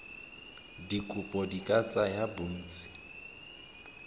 dikopo di ka tsaya bontsi